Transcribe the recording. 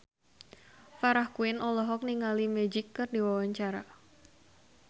Farah Quinn olohok ningali Magic keur diwawancara